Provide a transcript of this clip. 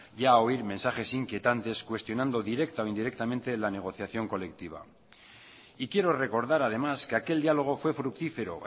ya a oír mensajes inquietantes cuestionando directa o indirectamente la negociación colectiva y quiero recordar además que aquel diálogo fue fructífero